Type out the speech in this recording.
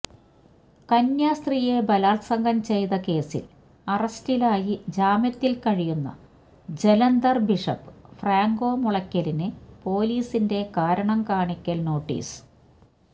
കന്യാസ്ത്രീയെ ബലാത്സംഗം ചെയ്തകേസിൽ അറസ്റ്റിലായി ജാമ്യത്തിൽ കഴിയുന്ന ജലന്ധർ ബിഷപ്പ് ഫ്രാങ്കോ മുളയ്ക്കലിന് പോലീസിന്റെ കാരണം കാണിക്കൽ നോട്ടീസ്